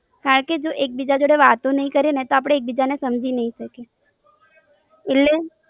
હા કે જો એકબીજા જોડે વાતો નઈ કરીએ ને તો એકબીજાને સમજી નાઈ શકીએ